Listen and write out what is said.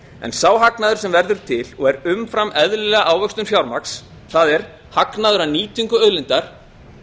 en sá hagnaður sem verður til og er umfram eðlilega ávöxtun fjármagn það er hagnaður af nýtingu auðlindar